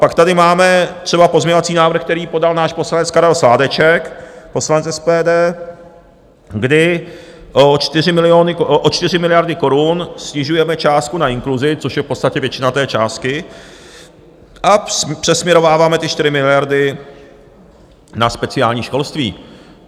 Pak tady máme třeba pozměňovací návrh, který podal náš poslanec Karel Sládeček, poslanec SPD, kdy o 4 miliardy korun snižujeme částku na inkluzi, což je v podstatě většina té částky, a přesměrováváme ty 4 miliardy na speciální školství.